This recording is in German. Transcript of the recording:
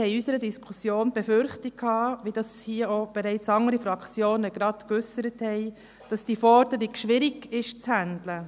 Wir hatten in unserer Diskussion die Befürchtung, die bereits andere Fraktionen geäussert haben, nämlich, dass diese Forderung schwierig zu handhaben wäre.